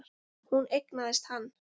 Hún eignaðist hann.